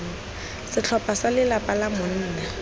setlhopha sa lelapa la monna